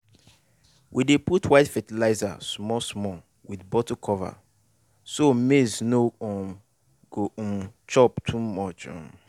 we dey put white fertilizer small small with bottle cover so maize no um go um chop too much. um